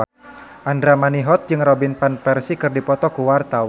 Andra Manihot jeung Robin Van Persie keur dipoto ku wartawan